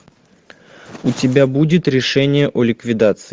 у тебя будет решение о ликвидации